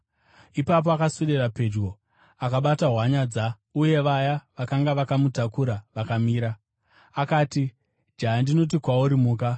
Ipapo akaswedera pedyo akabata hwanyanza, uye vaya vakanga vakamutakura vakamira. Akati, “Jaya, ndinoti kwauri, muka!”